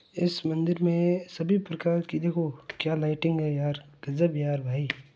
इस मंदिर में सभी प्रकार की देखो क्या लाइटिंग है यार गजब यार भाई।